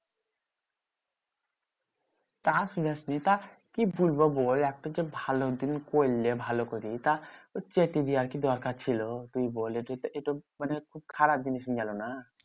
তা শোধাসনি। তা কি বলবো বল? একটা তোর ভালো দিন করলে ভালো করে। তা চেটে দেওয়ার কি দরকার ছিল? তুই বল এ তো মানে খুব খারাপ জিনিস হয়ে গেলো না?